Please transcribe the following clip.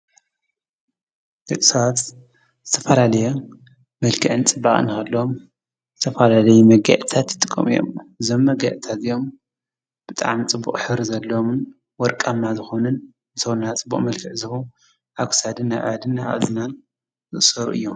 ደቂ ሰባት ዝተፈላለየ መልክዕን ፅባቀን እናሃለዎም ዝተፈላለየ መጋየፅታት ይጥቀሙ እዮም። እዞም መጋየፅታት እዚኦም ብጣዕሚ ፅቡቕ ሕብሪ ዘለዎምን ወርቃማ ዝኾነን ንሰውነትና ፅቡቕ መልክዕ ዝህቡ ኣብ ክሳድን ኢድን እዝንን ዝእሰሩ እዮም ።